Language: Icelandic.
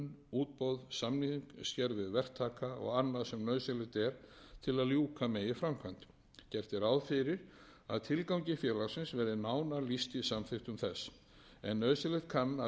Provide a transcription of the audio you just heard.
verktaka og annað sem nauðsynlegt er til að ljúka megi framkvæmd gert er ráð fyrir að tilgangi félagsins verði nánar lýst í samþykktum þess en nauðsynlegt kann að vera að tilgangi félagsins verði að einhverju leyti